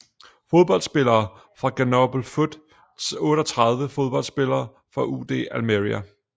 Fodboldspillere fra Grenoble Foot 38 Fodboldspillere fra UD Almería